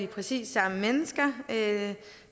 præcis de samme mennesker